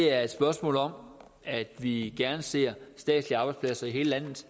er et spørgsmål om at vi gerne ser statslige arbejdspladser i hele landet